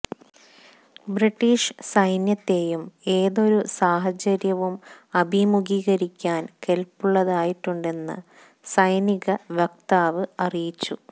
British സൈന്യത്തേയും ഏതൊരു സാഹചര്യവും അഭിമുഖീകരിക്കാൻ കെല്പുള്ളതാക്കിയിട്ടുണ്ടെന്ന് സൈനിക വക്താവ് അറിയിച്ചു